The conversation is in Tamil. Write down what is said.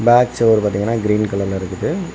பேக் சைடு பாத்திங்கன்னா கிரீன் கலர்ல இருக்குது.